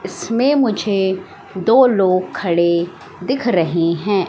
इसमें मुझे दो लोग खड़े दिख रहे हैं।